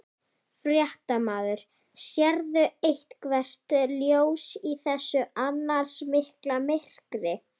Fréttamaður: Sérðu eitthvert ljós í þessu annars mikla myrkri?